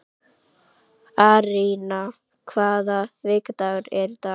Arína, hvaða vikudagur er í dag?